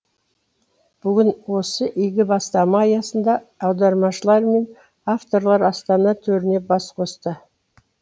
бүгін осы игі бастама аясында аудармашылар мен авторлар астана төрінде бас қосты